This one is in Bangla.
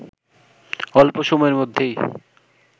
অল্প সময়ের মধ্যেই